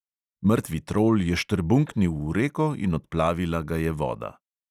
Mrtvi trol je štrbunknil v reko in odplavila ga je voda.